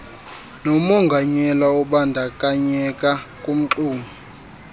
nomonganyelwa obandakanyeka kumxumi